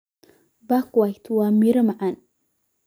Buckwheat waa miro macaan.